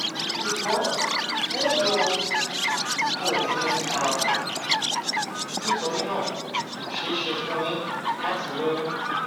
ṣùgbọn ẹ lo oògùn ààbò nítorí náà kò ṣeé ṣe fún yín láti lóyún